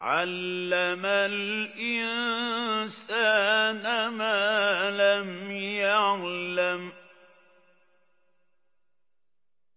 عَلَّمَ الْإِنسَانَ مَا لَمْ يَعْلَمْ